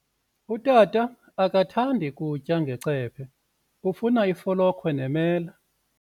Utata akathandi kutya ngecephe, ufuna ifolokhwe nemela.